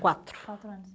Quatro quatro anos.